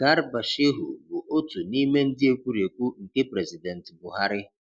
Garuba Shehu bụ otu nime ndị ekwurekwu nke President Buhari.